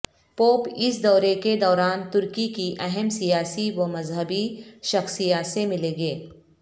pope اس دورے کے دوران ترکی کی اہم سیاسی و مذہبی شخصیات سے ملیں گے